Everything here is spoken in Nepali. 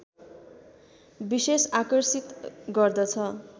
विशेष आकर्षित गर्दछ